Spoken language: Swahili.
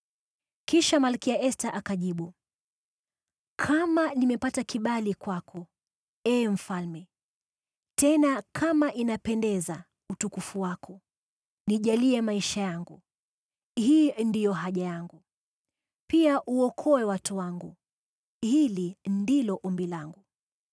Kisha Malkia Esta akajibu, “Kama nimepata kibali kwako, ee mfalme, tena kama inapendeza utukufu wako, nijalie maisha yangu, hii ndiyo haja yangu. Pia uokoe watu wangu, hili ndilo ombi langu.